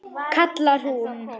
kallar hún.